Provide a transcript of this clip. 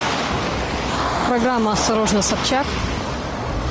программа осторожно собчак